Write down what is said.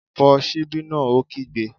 Fọ́ ṣíbí náà! Ó kígbe